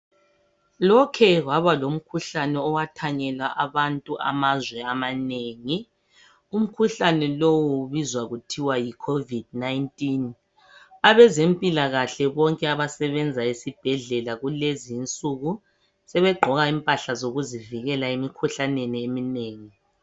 Lokhe kwabalomkhuhlane owathanyela abantu emazweni amanengi, umkhuhlane lo ubizwa kuthiwa yi 'Covid 19', abezemphilakahle abasebenza ezibhedlela kulezi insuku, sebegqoka imphahla zokuzivikela emkhuhlaneni eminengi.